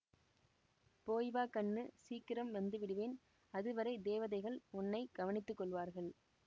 போய் வா கண்ணு சீக்கிரம் வந்து விடுவேன் அது வரை தேவதைகள் உன்னை கவனித்து கொள்வார்கள்